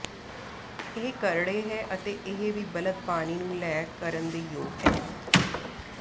ਇਹ ਕਰੜੇ ਹੈ ਅਤੇ ਇਹ ਵੀ ਬਲਦ ਪਾਣੀ ਨੂੰ ਲੈ ਕਰਨ ਦੇ ਯੋਗ ਹੈ